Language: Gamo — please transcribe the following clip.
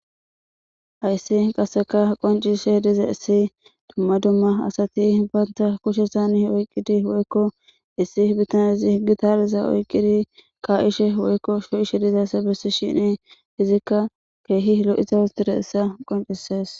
Hayissi qasseka qoncisishe dizayisi duma duma assati anitta kushezani issi bitanezi gitaraeza oyikidi ka'ishe woyiko shocishe dizayissa bessishini izika kehi loyizayisa qoncisesi